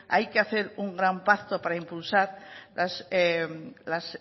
hay que hacer un gran pacto para impulsar la